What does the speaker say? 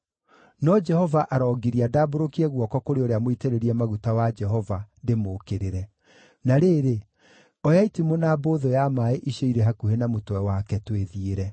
No Jehova arongiria ndambũrũkie guoko kũrĩ ũrĩa mũitĩrĩrie maguta wa Jehova, ndĩmũũkĩrĩre. Na rĩrĩ, oya itimũ na mbũthũ ya maaĩ icio irĩ hakuhĩ na mũtwe wake, twĩthiĩre.”